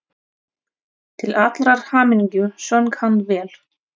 Til allrar hamingju söng hann vel!